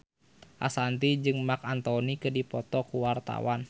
Ashanti jeung Marc Anthony keur dipoto ku wartawan